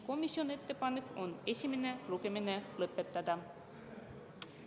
Komisjoni ettepanek on esimene lugemine lõpetada.